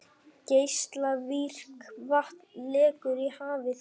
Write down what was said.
Geislavirkt vatn lekur í hafið